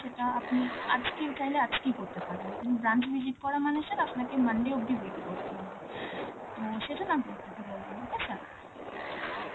সেটা আপনি আজকে চাইলে, আজকেই করতে পারবেন, কিন্তু branch visit করা মানে sir আপনাকে monday অব্দি wait করতে হবে. তো সেই জন্যে আমি আপনাকে বললাম, okay sir?